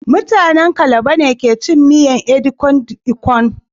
Mutanen calabar be kecin miyan edikan ikong